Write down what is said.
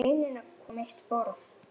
Ég legg steininn á hvolf á mitt borðið.